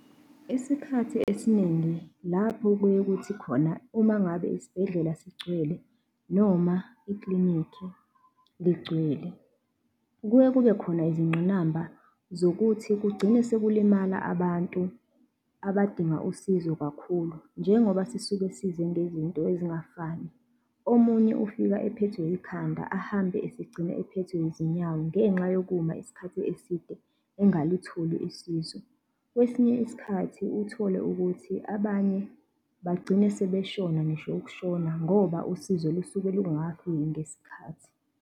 Isikhathi esiningi lapho kuye kuthi khona uma ngabe isibhedlela sigcwele noma ikilinikhi ligcwele, kuye kube khona izingqinamba zokuthi kugcine sekulimala abantu abadinga usizo kakhulu njengoba sisuke size ngezinto ezingafani. Omunye ufika ephethwe yikhanda ahambe esegcine ephethwe yizinyawo ngenxa yokuma isikhathi eside engalitholi usizo. Kwesinye isikhathi uthole ukuthi abanye bagcine sebeshona ngisho ukushona ngoba usizo lusuke lungakafiki ngesikhathi.